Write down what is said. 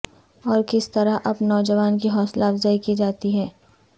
اور کس طرح اب نوجوان کی حوصلہ افزائی کی جاتی ہے